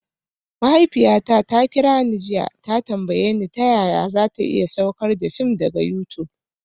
Mahaifiyata ta kira ni jiya ta tambaye ni ta yaya za ta iya saukar da fim daga YouTube